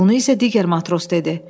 Bunu isə digər matros dedi.